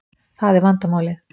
Það er vandamálið